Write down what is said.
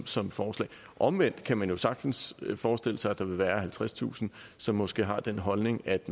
som forslag omvendt kan man sagtens forestille sig at der vil være halvtredstusind som måske har den holdning at